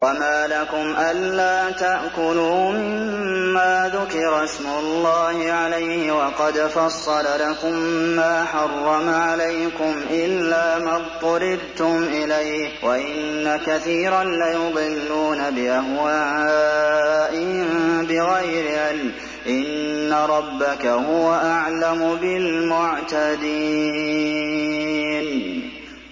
وَمَا لَكُمْ أَلَّا تَأْكُلُوا مِمَّا ذُكِرَ اسْمُ اللَّهِ عَلَيْهِ وَقَدْ فَصَّلَ لَكُم مَّا حَرَّمَ عَلَيْكُمْ إِلَّا مَا اضْطُرِرْتُمْ إِلَيْهِ ۗ وَإِنَّ كَثِيرًا لَّيُضِلُّونَ بِأَهْوَائِهِم بِغَيْرِ عِلْمٍ ۗ إِنَّ رَبَّكَ هُوَ أَعْلَمُ بِالْمُعْتَدِينَ